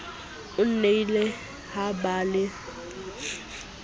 ho nnile ha ba le